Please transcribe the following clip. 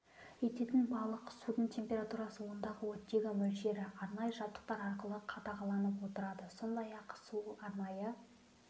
ететін балық судың температурасы ондағы оттегі мөлшері арнайы жабдықтар арқылы қадағаланып отырады сондай-ақ суы арнайы